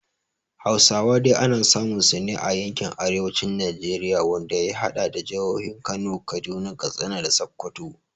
Hausawa dai ana samun su ne a yankin arewacin Najeriya, wanda ya hada da jihohin Kano, Kaduna, Katsina, da Sokoto.